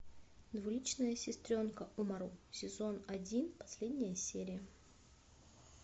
двуличная сестренка умару сезон один последняя серия